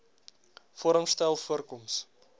vorm styl voorkoms